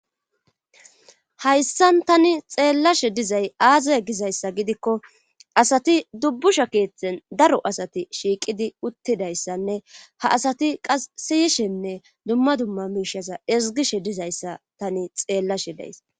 Hayssan tani xeellashe dizay aazay gizayssa gidikko asati dubbusha keethten daro asati shiiqidi uttidayssanne ha asati qasiyishenne dumma dumma miishaza ezgishe dizayssa tani xeellashe days.